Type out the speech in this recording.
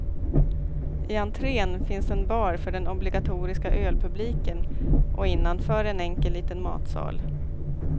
I entrén finns en bar för den obligatoriska ölpubliken, och innanför en enkel liten matsal.